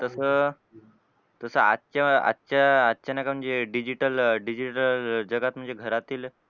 तसं तसं आजच्या आजच्या आजच्या ना जे digital digital जगात म्हणजे घरातील,